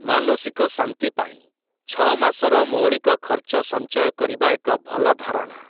ମାନସିକ ଶାନ୍ତି ପାଇଁ, ଛଅ ମାସର ମୌଳିକ ଖର୍ଚ୍ଚ ସଞ୍ଚୟ କରିବା ଏକ ଭଲ ଧାରଣା ।